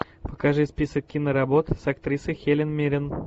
покажи список киноработ с актрисой хелен миррен